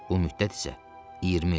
Bu müddət isə 20 ildir.